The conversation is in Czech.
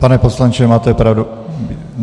Pane poslanče, máte pravdu.